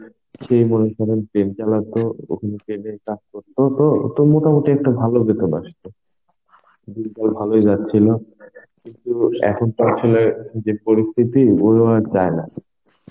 সে মনে করেন Train চালাত ওখানে Train এর কাজ করতো ও তো মোটামুটি একটা ভালো বেতন আসত. দিনকাল ভালোই যাচ্ছিল. কিন্তু এখন তো আসলে যে পরিস্থিতি আর যায় না.